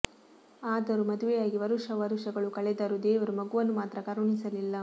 ಆದರೂ ಮದುವೆಯಾಗಿ ವರುಷ ವರುಷಗಳು ಕಳೆದರೂ ದೇವರು ಮಗುವನ್ನು ಮಾತ್ರ ಕರುಣಿಸಲಿಲ್ಲ